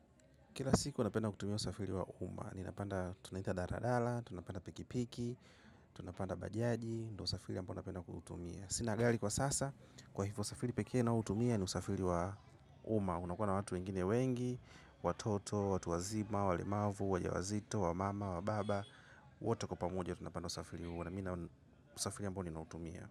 Kila siku napenda kutumia usafiri wa uma. Ninapanda tunaita daladala, tunapenda piki piki, tunapanda bajaji, ndo usafiri yambo unapenda kutumia. Sina gari kwa sasa, kwa hivyo safiri pekee au tumieni usafiri wa uma. Kila siku napenda kutumia usafiri wa uma. Ninapanda tunaita daladala, tunapenda piki piki, tunapanda bajaji, ndo usafiri ambao unapenda kutumia.